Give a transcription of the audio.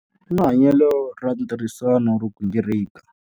U na hanyelo ra ntirhisano ro gingirika.